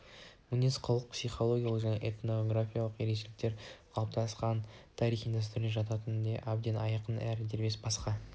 мінез-құлқы психологиялық және этнографиялық ерекшеліктері қалыптасқан тарихи дәстүрлері жатынан да әбден айқын әрі дербес басқа